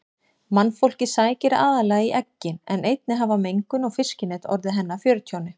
Mannfólkið sækir aðallega í eggin en einnig hafa mengun og fiskinet orðið henni að fjörtjóni.